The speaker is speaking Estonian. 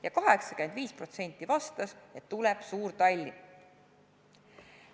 Ja 85% vastas, et tuleb suur Tallinn.